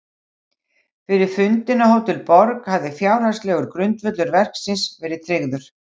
Fyrir fundinn á Hótel Borg hafði fjárhagslegur grundvöllur verksins verið tryggður.